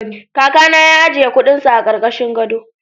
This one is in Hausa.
Kakana ya ajiye kuɗinsa a ƙarƙashin gado.